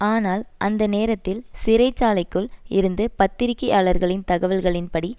ஆனால் அந்த நேரத்தில் சிறைச்சாலைக்குள் இருந்த பத்திரிகையாளர்களின் தகவல்களின் படி